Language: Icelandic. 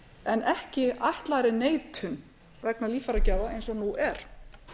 en ekki ætlaðri neitun vegna líffæragjafa eins og nú er